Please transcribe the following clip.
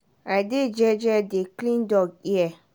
i dey jeje dey clean dog ear.